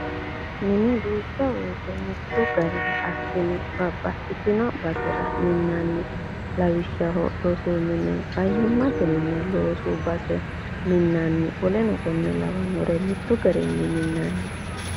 Mine duucha woyiite mittu gariha assine babbaxitino basera minnanni. Lawishshaho rosu mine, fayyimate mine, loosu base minnanna w.k.l mittu garii minnanni.